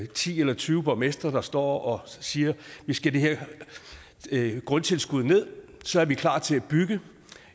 ti eller tyve borgmestre der står og siger vi skal have det her grundtilskud ned så er vi klar til at bygge